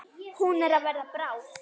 Hún er að verða bráð.